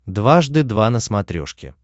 дважды два на смотрешке